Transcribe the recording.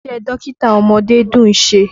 Iṣẹ́ dókítà ọmọdé dùn ṣe.